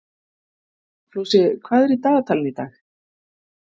Flosi, hvað er í dagatalinu í dag?